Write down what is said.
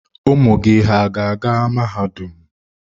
Ụmụ gị hà ga-aga mahadum?